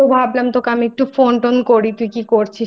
তারপরে আমি বসে আছি তো ভাবলাম তোকে আমি একটু Phone টোন